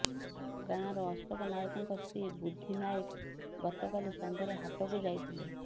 ଗାଁର ଅଶୋକ ନାଏକଙ୍କ ସ୍ତ୍ରୀ ବୁଦ୍ଧି ନାଏକ ଗତକାଲି ସନ୍ଧ୍ୟାରେ ହାଟକୁ ଯାଇଥିଲେ